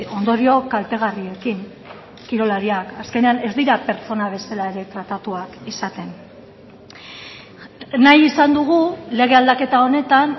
ondorio kaltegarriekin kirolariak azkenean ez dira pertsona bezala ere tratatuak izaten nahi izan dugu lege aldaketa honetan